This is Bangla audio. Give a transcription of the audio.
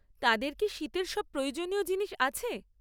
তাদের কি শীতের সব প্রয়োজনীয় জিনিস আছে?